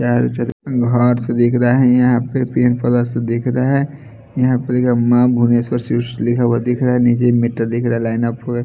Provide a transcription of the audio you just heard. बाहर से दिख रहा है येहा पे पेड़ पौधा सब दिख रहा है यहां पे मां भुनेश्वर शिवसी लिखा हुआ दिख रहा है नीचे एक मीटर दिख रहा हैं लाइन ऑफ--